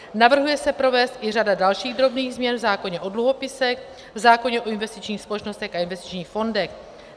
Navrhuje se provést i řada dalších drobných změn v zákoně o dluhopisech, v zákoně o investičních společnostech a investičních fondech.